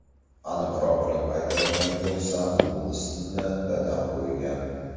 Aniqroq qilib aytadigan bo‘lsam, bu ismni dadam qo‘ygan.